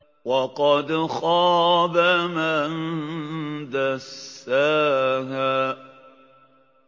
وَقَدْ خَابَ مَن دَسَّاهَا